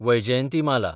Vyjayanthimala